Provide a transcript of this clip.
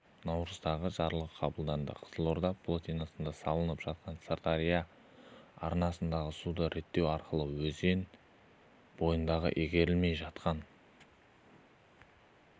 наурыздағы жарлығы қабылданды қызылорда плотинасын салып сырдария арнасындағы суды реттеу арқылы өзен бойындағы игерілмей жатқан